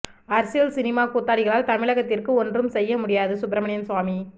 அரசியல் சினிமா கூத்தாடிகளால் தமிழகத்திற்கு ஒன்றும் செய்ய முடியாது சுப்பிரமணியன் சுவாமி